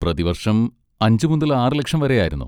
പ്രതിവർഷം അഞ്ച് മുതൽ ആറ് ലക്ഷം വരെ ആയിരുന്നു.